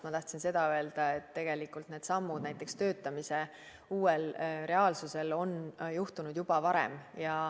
Ma tahtsin seda öelda, et tegelikult need sammud, näiteks töötamise uues reaalsuses, on juhtunud juba varem.